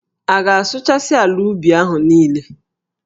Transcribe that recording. A ga-asụchasị ala ubi ahụ niile.